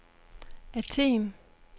Athen